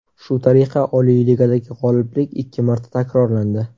Shu tariqa Oliy Ligadagi g‘oliblik ikki marta takrorlandi.